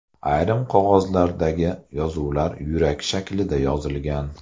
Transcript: Ayrim qog‘ozlardagi yozuvlar yurak shaklida yozilgan.